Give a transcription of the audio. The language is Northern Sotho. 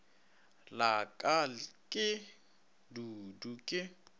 la ka ke dudu ke